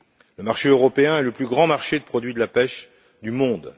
Le marché européen est le plus grand marché de produits de la pêche du monde.